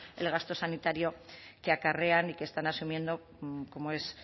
el gasto sanitario que acarrean y que están asumiendo como es